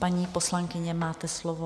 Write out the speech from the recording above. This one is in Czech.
Paní poslankyně, máte slovo.